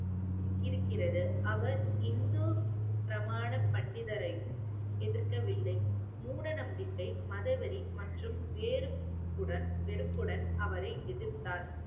இருக்கிறது. அவர் இந்து பிரமாண பண்டிதரையும் எதிர்க்கவில்லை. மூடநம்பிக்கை மதவெறி மற்றும் வேறுபுடன் வெறுப்புடன் அவரை எதிர்த்தார்